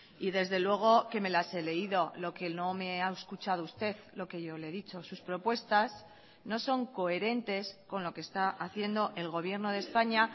y desde luego que me las he leído lo que no me ha escuchado usted lo que yo le he dicho sus propuestas no son coherentes con lo que está haciendo el gobierno de españa